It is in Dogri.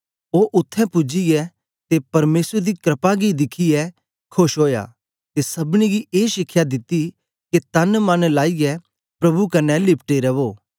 ओ उत्थें पूजियै ते परमेसर दी क्रपा गी दिखियै खोश ओया ते सबनीं गी ए शिखया दिती के तन मन लाईयै प्रभु कन्ने लिपटे रवो